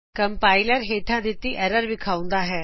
compiler ਹੇਠਾ ਦਿਤੀ error ਵਿਖਾਉਂਦਾ ਹੈ